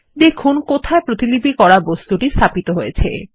দেখুন কোথায় প্রতিলিপি করা বস্তুটি স্থাপিত হয়েছে